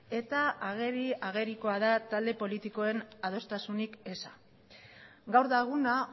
eta ageri agerikoa da talde politikoen adostasunik eza gaur da eguna